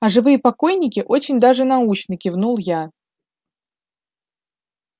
а живые покойники очень даже научны кивнул я